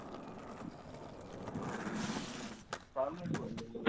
कामच बंद ठेवलं आहे.